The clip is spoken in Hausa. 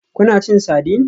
Kuna cin sardine?